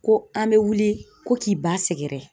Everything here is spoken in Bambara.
Ko an bɛ wuli ko k'i ba sɛgɛrɛ